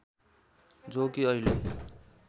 जो कि अहिले